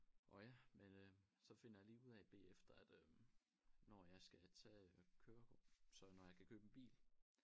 Og ja men øh så finder jeg lige ud af bagefter at øh når jeg skal tage kørekort så når jeg kan købe en bil